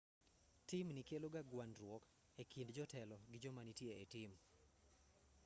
timni keloga gwandruok e kind jotelo gi joma nitie e tim